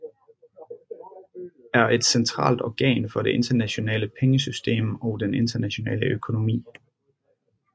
Er et centralt organ for det internationale pengesystem og den internationale økonomi